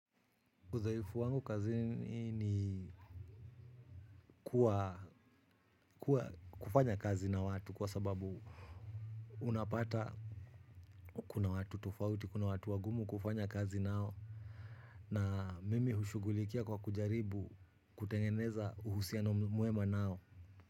Udhaifu wangu kazi ni kufanya kazi na watu kwa sababu unapata kuna watu tofauti, kuna watu wagumu kufanya kazi nao na mimi hushugulikia kwa kujaribu kutengeneza uhusiano muema nao.